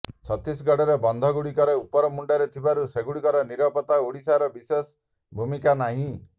ଛତିଶଗଡ଼ର ବନ୍ଧ ଗୁଡ଼ିକ ଉପର ମୁଣ୍ଡରେ ଥିବାରୁ ସେଗୁଡ଼ିକର ନିରାପତ୍ତାରେ ଓଡ଼ିଶାର ବିଶେଷ ଭୂମିକା ନାହିଁ